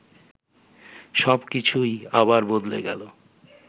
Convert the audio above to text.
সব কিছুই আবার বদলে গেল